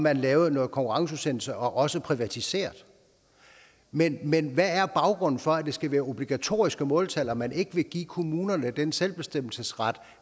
at lave noget konkurrenceudsættelse og også privatisere men men hvad er baggrunden for at det skal være obligatoriske måltal og at man ikke vil give kommunerne den selvbestemmelsesret